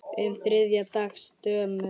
um þriðja dags dömum.